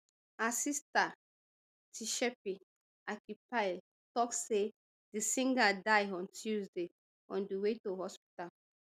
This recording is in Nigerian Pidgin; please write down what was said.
her sister tshepi akeepile tok say di singer die on tuesday on di way to hospital